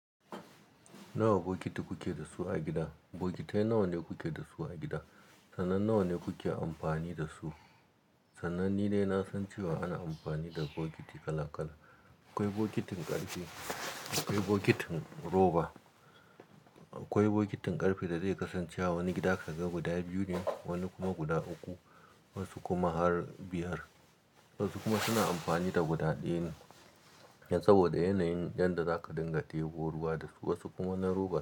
Nawa bokiti kuke dasu a gida? Bokitai nawa kuke dasu a gida? Sanan nawa kuke amfani da su? Sanan ni dai na san cewa ana amfani da bokiti kala--kala. Akwai bokitin ƙarfe, akwai bokitin roba. Akwai bokitin ƙarfe dadai kasance a wani gida ka ga guda biyu ne, wani kuma guda uku, wasu kuma har biyar. Wasu kuma suna amfani da guda ɗaya ne. Saboda yanayin yadda zaka dinga tebo ruwa da su, wasu kuma na roba.